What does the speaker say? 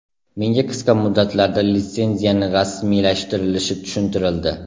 Menga qisqa muddatlarda litsenziyani rasmiylashtirilishi tushuntirildi.